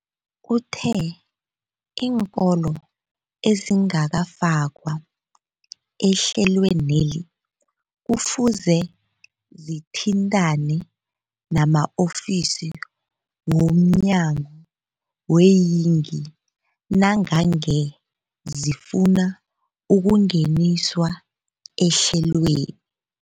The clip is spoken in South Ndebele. Uthe iinkolo ezingakafakwa ehlelweneli kufuze zithintane nama-ofisi womnyango weeyingi nangange zifuna ukungeniswa ehlelweni.